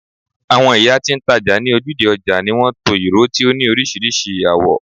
awon iya ti n taja ni ojude oja ni won to awon iro ti o ni orisirisi awo